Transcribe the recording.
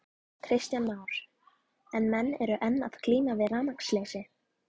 Kristján Már: En menn eru enn að glíma við rafmagnsleysi?